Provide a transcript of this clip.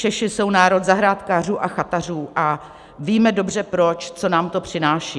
Češi jsou národ zahrádkářů a chatařů a víme dobře proč, co nám to přináší.